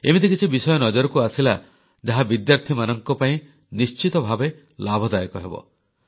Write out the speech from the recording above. ଏମିତି କିଛି ବିଷୟ ନଜରକୁ ଆସିଲା ଯାହା ବିଦ୍ୟାର୍ଥୀମାନଙ୍କ ପାଇଁ ନିଶ୍ଚିତ ଭାବେ ଲାଭଦାୟକ ହେବ